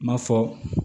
Ma fɔ